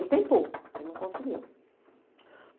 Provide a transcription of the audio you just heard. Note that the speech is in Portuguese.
Ele tentou, mas não conseguiu.